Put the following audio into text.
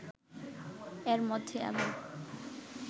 এর মধ্যে আবার